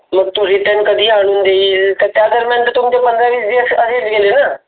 मग तो Return कधी आणून देईल पण त्याप्रमाणे तुमचे पंधरा वीस दिवस तर असेच गेले न.